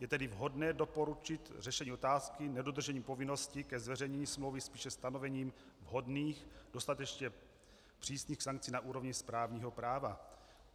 Je tedy vhodné doporučit řešení otázky nedodržení povinnosti ke zveřejnění smlouvy spíše stanovením vhodných, dostatečně přísných sankcí na úrovni správního práva.